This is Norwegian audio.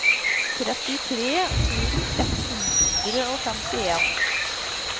trettitre tusen ett hundre og femtien